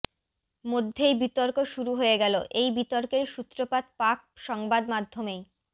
মধ্যেই বিতর্ক শুরু হয়ে গেল এই বিতর্কের সূত্রপাত পাক সংবাদমাধ্যমেই